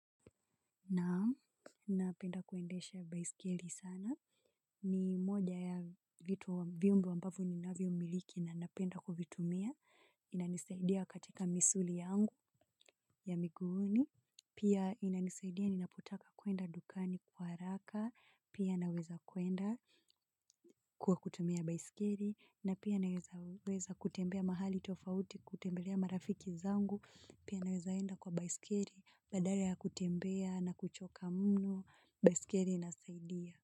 Naam, napenda kuendesha baisikeli sana. Ni moja ya vitu, vyombo ambavyo ni navyo miliki na napenda kuvitumia. Inanisaidia katika misuli yangu ya miguuni. Pia inanisaidia ninapotaka kuenda dukani kwa haraka. Pia naweza kuenda kwa kutumia baisikeri. Na pia naweza kutembea mahali tofauti kutembelea marafiki zangu. Pia naweza enda kwa baisikeri. Badala ya kutembea na kuchoka mno. Baiskeli ina saidia.